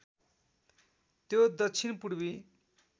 त्यो दक्षिण पूर्वी